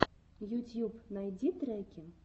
ютьюб найди треки